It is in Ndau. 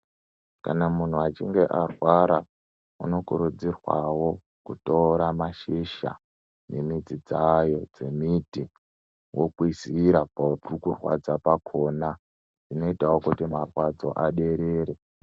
Kana muntu achinge arwara, anokurudzirwawo kutora mashizha, nemidzi dzayo dzemiti, wokwizira pari kurwadza pakona, zvinoyitawo kuti marwadzo aderere.